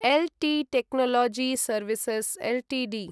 L T technology services Ltd